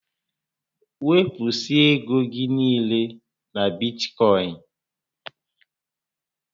Wepụsịa égo gị niile na Bitkọịn!